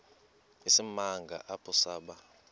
isimanga apho saba